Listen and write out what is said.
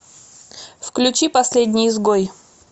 включи последний изгой